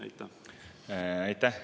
Aitäh!